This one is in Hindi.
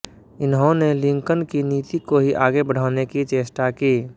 इन्होंने लिंकन की नीति को ही आगे बढ़ाने की चेष्टा की